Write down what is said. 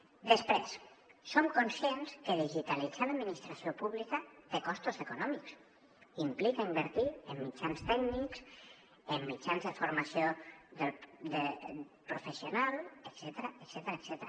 després som conscients que digitalitzar l’administració pública té costos econòmics implica invertir en mitjans tècnics en mitjans de formació professional etcètera